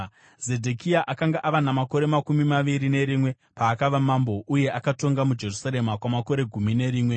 Zedhekia akanga ava namakore makumi maviri nerimwe paakava mambo uye akatonga muJerusarema kwamakore gumi nerimwe.